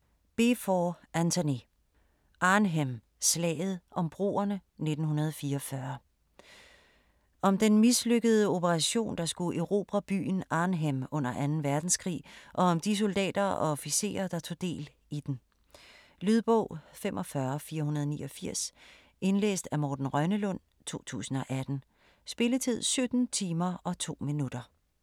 Beevor, Antony: Arnhem: slaget om broerne 1944 Om den mislykkede operation, der skulle erobre byen Arnhem under 2. verdenskrig, og om de soldater og officerer, der tog del i den. Lydbog 45489 Indlæst af Morten Rønnelund, 2018. Spilletid: 17 timer, 2 minutter.